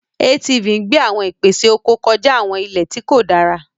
ATV ń gbé àwọn ìpèsè oko kọjá àwọn ilẹ̀ tí kò dára.